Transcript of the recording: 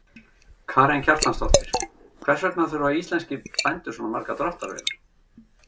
Karen Kjartansdóttir: Hvers vegna þurfa íslenskir bændur svona margar dráttarvélar?